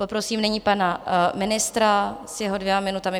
Poprosím nyní pana ministra s jeho dvěma minutami.